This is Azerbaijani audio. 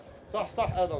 Sağ, sağ, Adəm, sağ!